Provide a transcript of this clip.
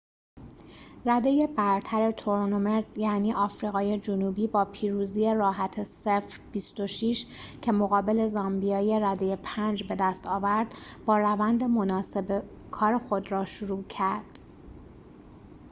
رده‌ی برتر تورنمنت یعنی آفریقای جنوبی با پیروزی راحت ۲۶ - ۰۰ که مقابل زامبیای رده ۵ بدست آورد با روند مناسب کار خود را شروع کرد